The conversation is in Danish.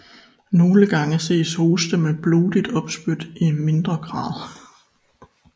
Nogle gange ses hoste med blodigt opspyt i mindre grad